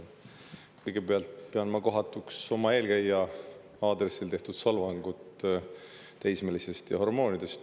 Kõigepealt pean ma kohatuks oma eelkäija aadressil esitatud solvangut teismelise ja hormoonide teemal.